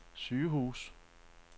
sygehuse